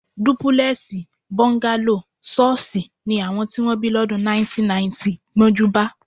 Dúpúlè̩è̩sì, bó̩ńgálò, s̩ó̩ó̩s̩ì ni àwo̩n tí wó̩n bí ló̩dùn 1990 gbó̩njúbá